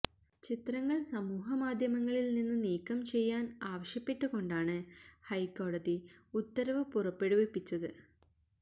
ചിത്രങ്ങള് സമൂഹമാധ്യമങ്ങളില് നിന്ന് നീക്കം ചെയ്യാന് ആവശ്യപ്പെട്ടുകൊണ്ടാണ് ഹൈക്കോടതി ഉത്തരവ് പുറപ്പെടുവിപ്പിച്ചത്